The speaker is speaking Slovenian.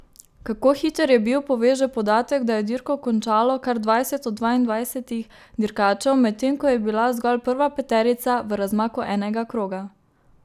Kako hiter je bil, pove že podatek, da je dirko končalo kar dvajset od dvaindvajsetih dirkačev, medtem ko je bila zgolj prva peterica v razmaku enega kroga.